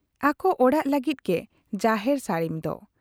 ᱟᱠᱚ ᱚᱲᱟᱜ ᱞᱟᱹᱜᱤᱫ ᱜᱮ ᱡᱟᱦᱮᱨ ᱥᱟᱹᱲᱤᱢ ᱫᱚ ᱾